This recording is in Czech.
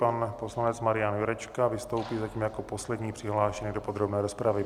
Pan poslanec Marian Jurečka vystoupí zatím jako poslední přihlášený do podrobné rozpravy.